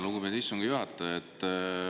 Lugupeetud istungi juhataja!